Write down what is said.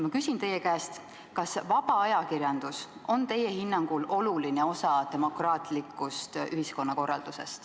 Ma küsin teie käest, kas vaba ajakirjandus on teie hinnangul oluline osa demokraatlikust ühiskonnakorraldusest.